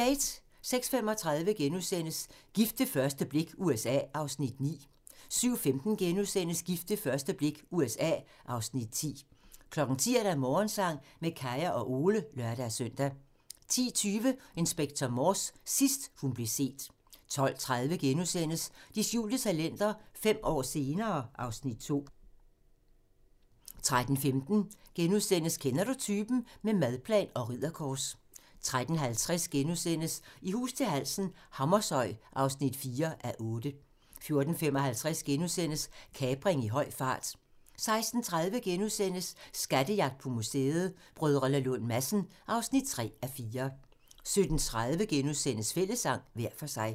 06:35: Gift ved første blik - USA (Afs. 9)* 07:15: Gift ved første blik - USA (Afs. 10)* 10:00: Morgensang med Kaya og Ole (lør-søn) 10:20: Inspector Morse: Sidst hun blev set 12:30: De skjulte talenter - fem år senere (Afs. 2)* 13:15: Kender du typen? - med madplan og ridderkors * 13:50: I hus til halsen - Hammershøj (4:8)* 14:55: Kapring i høj fart * 16:30: Skattejagt på museet: Brdr. Lund Madsen (3:4)* 17:30: Fællessang - hver for sig *